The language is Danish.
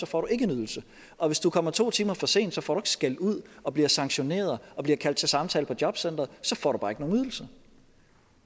får du ikke en ydelse og hvis du kommer to timer for sent får du skældud og bliver sanktioneret og bliver kaldt til samtale på jobcenteret så får du bare ikke nogen ydelser